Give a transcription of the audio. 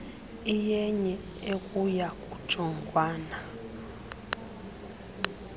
iyenye ekuya kujongwana